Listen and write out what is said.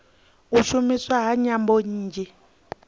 u shumiswa ha nyambo nnzhi